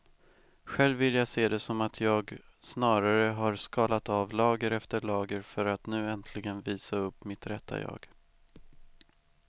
Själv vill jag se det som att jag snarare har skalat av lager efter lager för att nu äntligen visa upp mitt rätta jag.